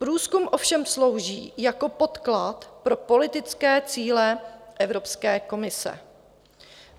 Průzkum ovšem slouží jako podklad pro politické cíle Evropské komise.